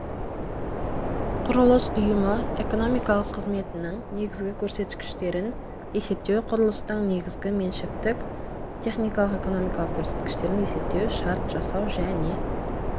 құрылыс ұйымы экономикалық қызметінің негізгі көрсеткіштерін есептеу құрылыстың негізгі меншіктік техникалық-экономикалық көрсеткіштерін есептеу шарт жасау және